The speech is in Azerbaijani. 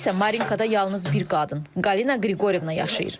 İndi isə Marinkada yalnız bir qadın, Qalina Qriqoryevna yaşayır.